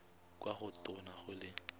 kwa go tona go le